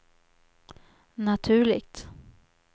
naturligt